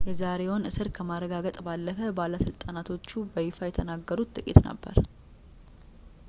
የዛሬውን እስር ከማረጋገጥ ባለፈ ባለስልጣኖቹ በይፋ የተናገሩት ጥቂት ነገር ነበር